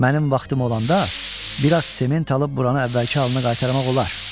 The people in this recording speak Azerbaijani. Mənim vaxtım olanda bir az sement alıb buranı əvvəlki halına qaytarmaq olar.